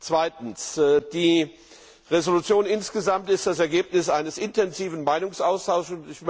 Zweitens Die Entschließung insgesamt ist das Ergebnis eines intensiven Meinungsaustauschs.